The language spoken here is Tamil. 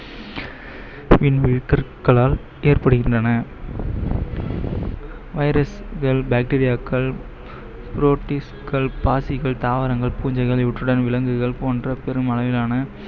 ஏற்படுகின்றன virus கள் bacteria க்கள் பாசிகள், தாவரங்கள், பூஞ்சைகள் இவற்றுடன் விலங்குகள் போன்ற பெரும் அளவிலான